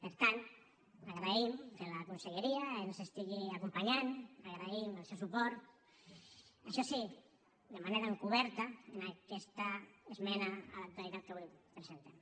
per tant agraïm que la conselleria ens estigui acompanyant agraïm el seu suport això sí de manera encoberta en aquesta esmena a la totalitat que avui presentem